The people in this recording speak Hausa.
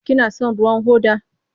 Kina son ruwan hoda?